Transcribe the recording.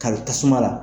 Kari tasuma la